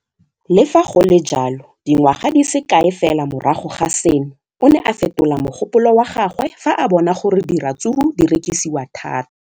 Le fa go le jalo, dingwaga di se kae fela morago ga seno, o ne a fetola mogopolo wa gagwe fa a bona gore diratsuru di rekisiwa thata.